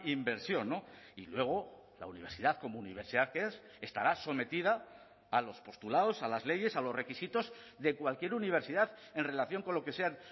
inversión y luego la universidad como universidad que es estará sometida a los postulados a las leyes a los requisitos de cualquier universidad en relación con lo que sean